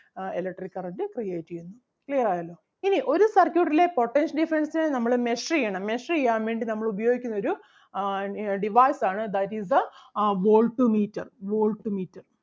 ആഹ് electric current create ചെയ്യുന്നു. Clear ആയല്ലോ ഇനി ഒരു circuit ലെ potential difference നമ്മള് measure ചെയ്യണം measure ചെയ്യാൻ വേണ്ടി നമ്മള് ഉപയോഗിക്കുന്ന ഒരു ആഹ് device ആണ് that is the uh volt meter volt meter